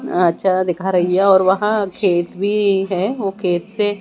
अच्छा दिखा रही है और वहां खेत भी है वो खेत से--